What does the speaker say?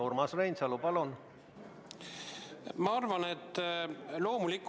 Urmas Reinsalu, palun!